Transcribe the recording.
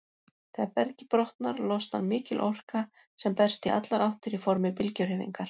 Þegar bergið brotnar, losnar mikil orka sem berst í allar áttir í formi bylgjuhreyfingar.